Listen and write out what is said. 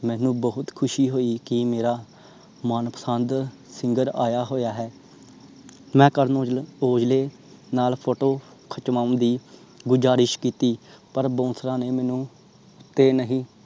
ਮੈਨੂੰ ਬਹੁਤ ਖੁਸ਼ੀ ਹੋਇ ਕਿ ਮੇਰਾ ਮਨਪਸੰਦ singer ਆਇਆ ਹੋਇਆ ਹੈ ਮੈਂ ਕਰਨ ਔਜਲੇ ਨਾਲ PHOTO ਖਿੱਚੋਨ ਦੀ ਗੁਜਾਰਿਸ਼ ਕੀਤੀ ਪਰ bouncer ਨੇ ਮੈਨੂੰ ਉੱਤੇ ਨਹੀਂ